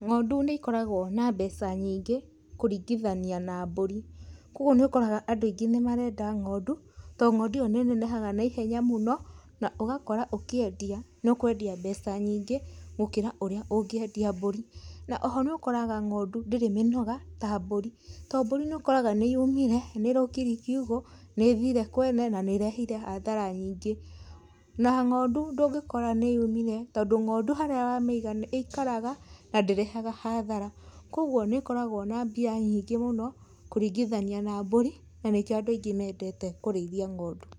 Ng'ondu nĩ ikoragwo na mbeca nyingĩ kũringithania na mbũri, kwoguo nĩ ũkoraga andũ aingĩ nĩ marenda ng'ondu, tondũ ngonduĩyo nĩ nenehaga naihenya mũno, na ũgakora ũkĩendia nĩ ũkwendia mbeca nyingĩ gũkĩra ũrĩa ũngĩendia mbũri, na oho nĩ ũkoraga ng'ondu ndĩrĩ mĩnoga ta mbũri, to mbũri nĩ ũkoraga nĩ yumire nĩ rokirie kiugo, nĩ thire kwene na nĩ rehire hathara nyingĩ, na ng'ondu ndũngĩkora nĩ yumire, tondũ ngondu harĩa wamĩĩga ĩkaraga na ndĩreha hathara, kwoguo nĩ ĩkoragwo na mbia nyingĩ mũno, kũringithania na mbũri, na nĩkio andũ aingĩ mendete kũrĩthia ng'ondu.